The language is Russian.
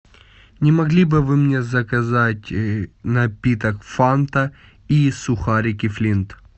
не могли бы вы мне заказать напиток фанта и сухарики флинт